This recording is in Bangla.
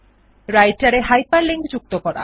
রাইটের মধ্যে হাইপারলিংক যুক্ত করা